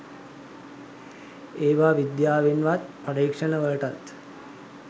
ඒවා විද්‍යාවෙන්වත් පරීක්ෂණ වලටත්